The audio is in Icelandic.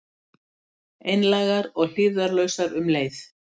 Einlægar og hlífðarlausar um leið.